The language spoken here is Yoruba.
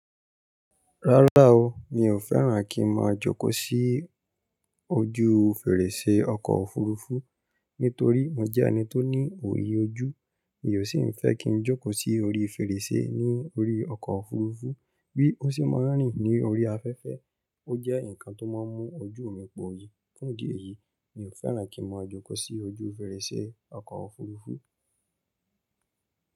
Rárá o, mi ò fẹ́ràn kí n máa jókò sí ojú fèrèsé ọkọ̀ òfurufú nítorí mo jẹ́ ẹni tó ní òye ojú. Mi ò sì ń fẹ́ kí ń jókò sí orí fèrèsé ní orí ọkọ̀ òfurufú bí ó ṣe máa ń rìn ní orí afẹ́fẹ́. Ó jẹ́ nǹkan tó máa ń mú ojú mi po yí. Fún ìdí èyí, mi ò fẹ́ràn kí n máa jókò sí ojú fèrèsé ọkọ̀ òfurufú.